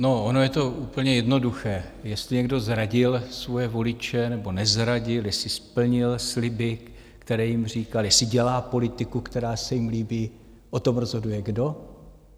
No, ono je to úplně jednoduché, jestli někdo zradil svoje voliče, nebo nezradil, jestli splnil sliby, které jim říkal, jestli dělá politiku, která se jim líbí, o tom rozhoduje kdo?